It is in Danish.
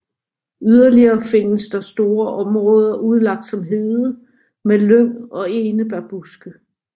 Yderligere findes der store områder udlagt som hede med lyng og enebærbuske